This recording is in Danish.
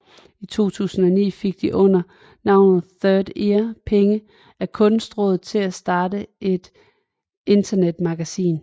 I 2009 fik de under navnet Third Ear penge af Kunstrådet til at starte et internetmagasin